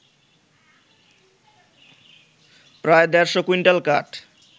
প্রায় দেড়শো কুইন্টাল কাঠ